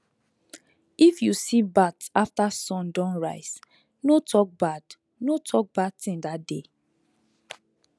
if you see bat after sun don rise no talk bad no talk bad thing that day